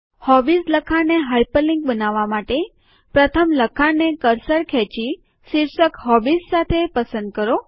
hobbies લખાણ ને hyperlink બનાવવા માટે પ્રથમ લખાણ ને કર્સર ખેંચી શીર્ષક હોબીઝ સાથે પસંદ કરો